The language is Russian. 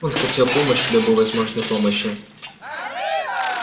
он хотел помощи любой возможной помощи